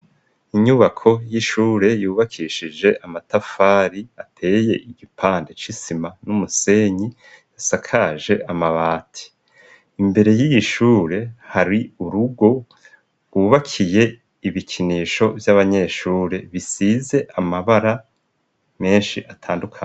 Inyubako y'ishure yubakishije amatafari ateye igipande c'isima n'umusenyi yasakaje amabati imbere y'ishure hari urugo wubakiye ibikinisho vy'abanyeshure bisize amabara menshi atandukanye